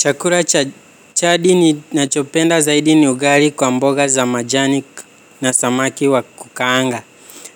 Chakula chadi ninachopenda zaidi ni ugali kwa mboga za majani na samaki wa kukaanga.